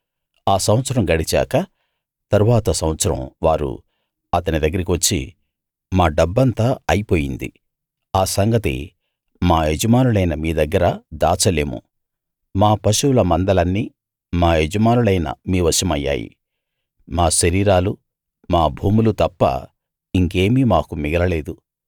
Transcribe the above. ఆ సంవత్సరం గడిచాక తరువాత సంవత్సరం వారు అతని దగ్గరికి వచ్చి మా డబ్బంతా అయిపోయింది ఆ సంగతి మా యజమానులైన మీ దగ్గర దాచలేము మా పశువుల మందలన్నీ మా యజమానులైన మీ వశమయ్యాయి మా శరీరాలూ మా భూములూ తప్ప ఇంకేమీ మాకు మిగలలేదు